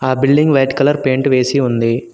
ఆ building white colour paint వేసి ఉంది.